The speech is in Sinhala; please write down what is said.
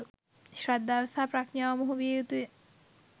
ශ්‍රද්ධාව සහ ප්‍රඥාව මුහු විය යුතුය.